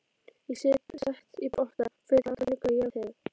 Ég set í potta og fylli alla glugga á jarðhæð.